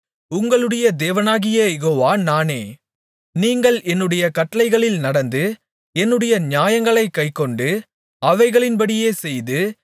உங்களுடைய தேவனாகிய யெகோவா நானே நீங்கள் என்னுடைய கட்டளைகளில் நடந்து என்னுடைய நியாயங்களைக் கைக்கொண்டு அவைகளின்படியே செய்து